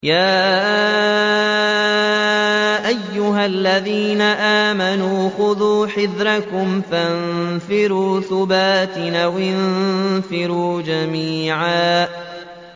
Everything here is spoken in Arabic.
يَا أَيُّهَا الَّذِينَ آمَنُوا خُذُوا حِذْرَكُمْ فَانفِرُوا ثُبَاتٍ أَوِ انفِرُوا جَمِيعًا